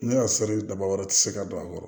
Ne ka seli daba wɛrɛ ti se ka don a kɔrɔ